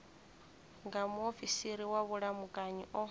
nga muofisiri wa vhulamukanyi o